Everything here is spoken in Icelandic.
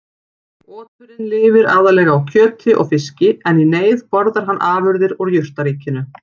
Oturinn lifir aðallega á kjöti og fiski en í neyð borðar hann afurðir úr jurtaríkinu.